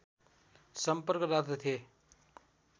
सम्पर्क राख्दथे